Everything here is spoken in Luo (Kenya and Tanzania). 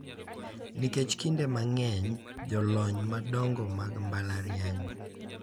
Nikech kinde mang`eny jolony madongo mag mbalariany.